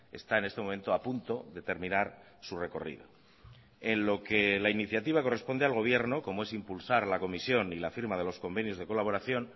está en este momento a punto de terminar su recorrido en lo que la iniciativa corresponde al gobierno como es impulsar la comisión y la firma de los convenios de colaboración